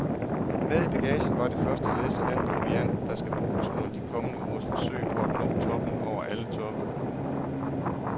Med i bagagen var det første læs af den proviant, der skal bruges under de kommende ugers forsøg på at nå toppen over alle toppe.